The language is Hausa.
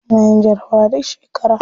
Suna yin jarabawa duk shekara.